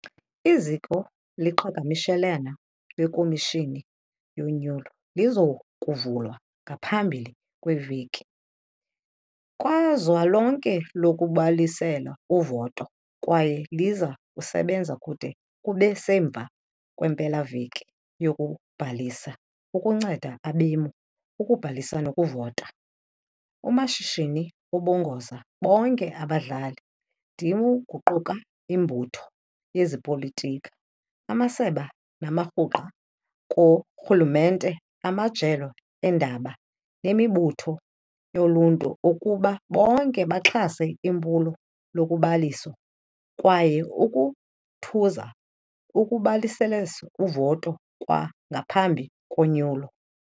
Iziko loqhagamshelwano lweKhomishini yoNyulo liza kuvulwa kwangaphambili kwempela-veki kazwelonke yokubhalisela uvoto kwaye liza kusebenza kude kube semva kwempela-veki yokubhalisa ukunceda abemi ukubhalisa nokuvota. UMashinini ubongoze bonke abadlali-ndima kuquka imibutho yezopolitiko, amasebe namaqumrhu karhulumente, amajelo eendaba nemibutho yoluntu ukuba bonke baxhase iphulo lokubhalisa kwaye ukhuthaze ukubhalisela uvoto kwangaphambi konyulo.